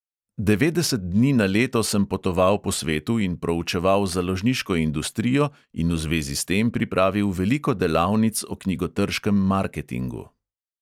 Devetdeset dni na leto sem potoval po svetu in proučeval založniško industrijo in v zvezi s tem pripravil veliko delavnic o knjigotrškem marketingu.